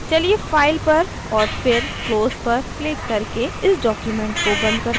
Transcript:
चलिए file पर और फिर close पर क्लिक करके इस document को बंद करते हैं